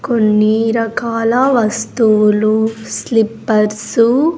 కొన్ని రకాల వస్తువులు స్లిపర్స్ .